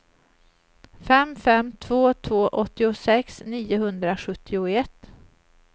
fem fem två två åttiosex niohundrasjuttioett